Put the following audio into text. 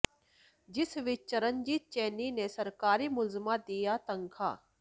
ਜਿਸ ਵਿਚ ਚਰਨਜੀਤ ਚੰਨੀ ਨੇ ਸਰਕਾਰੀ ਮੁਲਾਜ਼ਮਾਂ ਦੀਆਂ ਤਨਖਾਹਾਂ